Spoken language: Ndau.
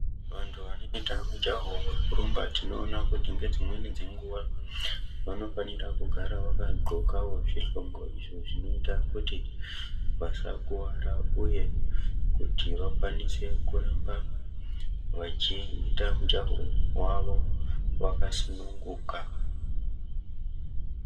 Vantu vanoite mujaho wekurumba tinoona kuti ngedzimweni dzenguva vanofanira kugara vakadhxokawo zvidhxoko izvo zvinoite kuti vasakuvara uye kuti vakwanise kuramba vachiita mujaho wavo vakasununguka.